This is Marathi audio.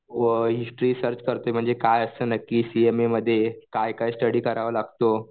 अ हिस्ट्री सर्च करतोय म्हणजे काय असतं नक्की सीएमएमध्ये काय काय स्टडी करावा लागतो?